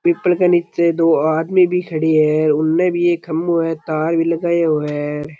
People के नीचे दो आदमी भी खड़े है उन भी एक खंभों है तार भी लगायों है।